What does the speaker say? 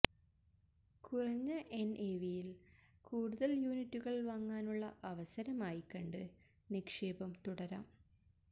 കുറഞ്ഞ എന്എവിയില് കൂടുതല് യൂണിറ്റുകള് വാങ്ങാനുള്ള അവസരമായി കണ്ട് നിക്ഷേപം തുടരാം